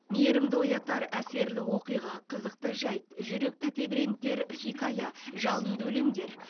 мейірімді оятар әсерлі оқиға қызықты жайт жүректі тебірентер хикая жалынды өлеңдер